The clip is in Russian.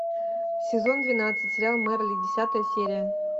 сезон двенадцать сериал мерлин десятая серия